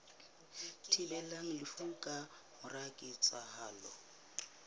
thibelang lefu ka mora ketsahalo